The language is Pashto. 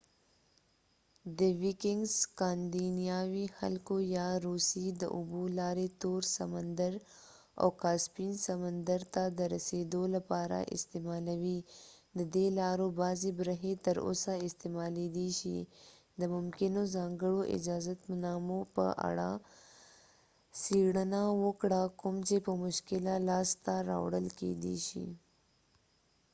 سکاندیناوي خلکو یا vikings د روسیې د اوبو لارې تور سمندر او کاسپین سمندر ته درسیدو لپاره استعمالولې ددې لارو بعضې برخې تر اوسه استعمالیدای شي د ممکنو ځانکړو اجازتنامو په اړه څیړنه وکړه کوم چې په مشکله لاسته راوړل کیدای شي